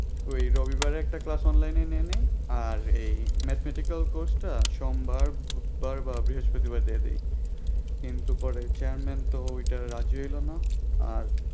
ওই রবিবারে একটা class online নিয়ে নিই আর এই mathematical course টা সোমবার বুধবার বা বৃহস্পতিবা দিয়ে দিই কিন্তু পরে chairman তো ওইটা রাজি হইল না আর